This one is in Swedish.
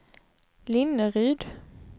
Linneryd